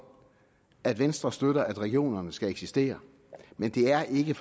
at venstre støtter at regionerne skal eksistere men det er ikke